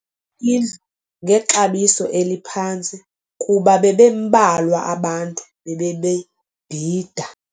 indlu ngexabiso eliphantsi kuba bebembalwa abantu bebebebhida.